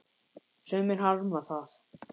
Sumir harma það.